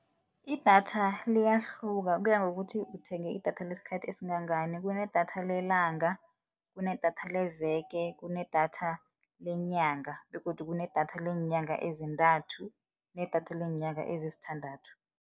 Idatha liyahluka kuya ngokuthi uthenge idatha lesikhathi esingangani, kunedatha lelanga, kunedatha leveke, kunedatha lenyanga begodu kunedatha leenyanga ezintathu, kunedatha leenyanga ezisithandathu.